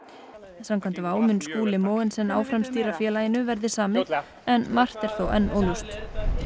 samkvæmt mun Skúli Mogensen áfram stýra félaginu verði samið en margt er þó enn óljóst